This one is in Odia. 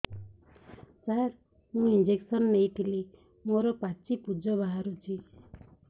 ସାର ମୁଁ ଇଂଜେକସନ ନେଇଥିଲି ମୋରୋ ପାଚି ପୂଜ ବାହାରୁଚି